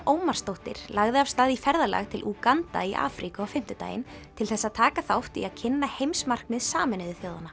Ómarsdóttir lagði af stað í ferðalag til Úganda í Afríku á fimmtudaginn til þess að taka þátt í að kynna heimsmarkmið Sameinuðu þjóðanna